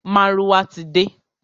Márúwá ti de.